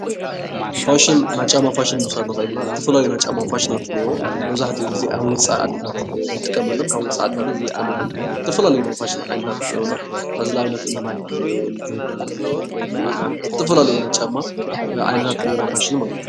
ፋሽን ናይ ጫማ ፋሽን ምውሳድ ንክእል ኢና ዝተፈላለዩ ናይ ጫማ ፋሽናት እነአው መብዛሕቲኡ ግዜ ኣብ ወፃኢታት ዓድታት ንጥቀመሉም ካብ ወፃኢ ዓድታት ንጥቀመሎም ዝተፈላለዩ ፋሽን ዓይነት እነአው ሕዚ ንኣብነት ማይክል ጆርዳን ፣ ማላክስ ዝተፈላለዩ ናይ ጫማ ዓይነታት እነእውና ፋሽን ማለት እዩ።